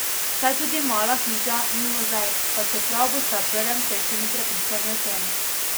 Saj tudi Mala hiža ni muzej, pa čeprav boste ob prvem srečanju prepričani o tem.